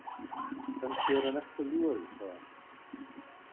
Kannski er hann ekki að ljúga því, sagði hann.